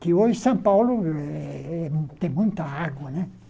Que hoje São Paulo eh tem muita água, né?